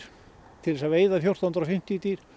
til að veiða fjórtán hundruð og fimmtíu dýr